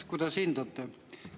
Kuidas hindate?